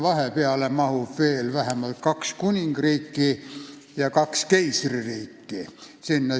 Vahepeale mahub veel vähemalt kaks kuningriiki ja kaks keisririiki.